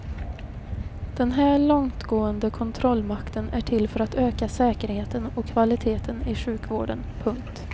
Den här långtgående kontrollmakten är till för att öka säkerheten och kvaliteten i sjukvården. punkt